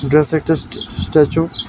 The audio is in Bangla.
ব্যাস একটা স্ট্যা স্ট্যাচু ।